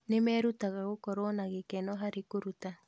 Nĩ merutaga gũkorwo na gĩkeno harĩ kũruta.